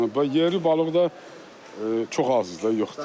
Və yerli balıq da çox azdır da, yoxdur.